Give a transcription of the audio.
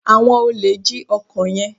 awón olè jí ọkọ yén.